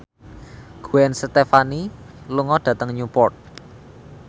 Gwen Stefani lunga dhateng Newport